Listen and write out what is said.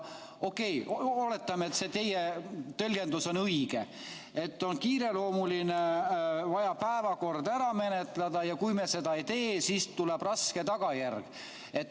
Okei, oletame, et see teie tõlgendus on õige, et on kiireloomuline, vaja päevakord ära menetleda ja kui me seda ei tee, siis tuleb raske tagajärg.